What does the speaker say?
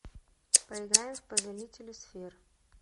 поиграем в повелители сфер